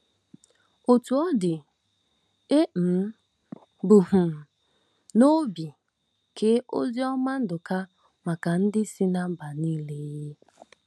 Otú ọ dị, e um bu um n'obi kee Oziọma Nduka maka ndị si ná mba nile um.